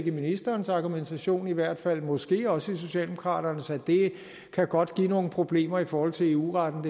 i ministerens argumentation i hvert fald måske også i socialdemokraternes at det her godt kan give nogle problemer i forhold til eu retten